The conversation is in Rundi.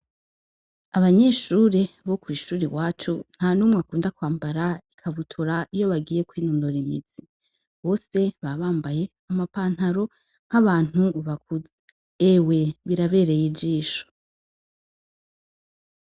Abanyeshure bo kw'ishure iwacu, ntanumwe akunda kwambara ikabutura iyo bagiye kwinonora imitsi, bose baba bambaye ama pantaro nk'abantu bakuze, ewe birabereye ijisho.